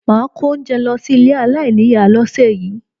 Máà kó oúnjẹ lọ sí ilé aláìníìyá lọ́sẹ̀ yìí